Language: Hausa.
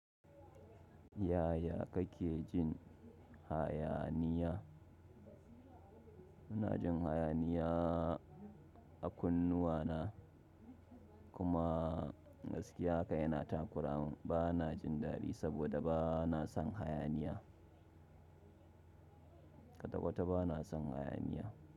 Yaya kake jin hayaniya? Muna jin hayaniya a kunnuwana kuma gaskiya haka yana takura mun. Bana jin dadi saboda bana son hayaniya. Kwata-kwata bana son hayaniya.